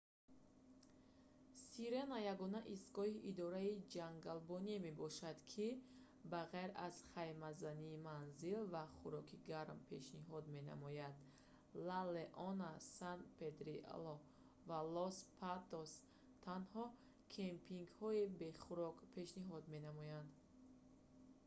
сирена ягона истгоҳи идораи ҷангалбоние мебошад ки ба ғайр аз хаймазанӣ манзил ва хӯроки гарм пешниҳод менамояд ла леона сан педрилло ва лос патос танҳо кемпингҳои бе хӯрок пешниҳод менамоянд